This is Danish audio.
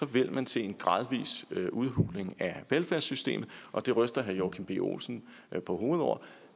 vil man se en gradvis udhuling af velfærdssystemet og det ryster herre joachim b olsen på hovedet over